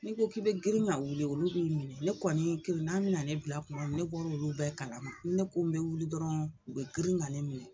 Ne ko k'i bɛ girin k'a wuli olu b'i minɛ ne kɔni kirinnan bɛna ne bila kuma min ne bɔr'olu bɛɛ kalama, n'i ne ko n bɛ wuli dɔrɔn u bɛ girin ka ne minɛ.